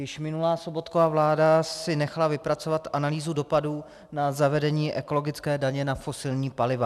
Již minulá Sobotkova vláda si nechala vypracovat analýzu dopadů na zavedení ekologické daně na fosilní paliva.